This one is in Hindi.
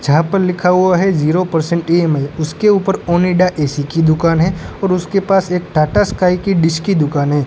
जहां पर लिखा हुआ है जीरो परसेंट इ_एम_आई उसके ऊपर ओनिडा ए_सी की दुकान है और उसके पास एक टाटा स्काई की डिश की दुकान है।